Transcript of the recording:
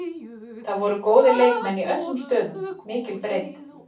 Það voru góðir leikmenn í öllum stöðum, mikil breidd.